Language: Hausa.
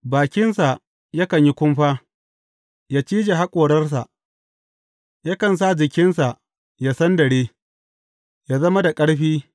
Bakinsa yakan yi kumfa, yă cije haƙorarsa, yakan sa jikinsa ya sandare, yă zama da ƙarfi.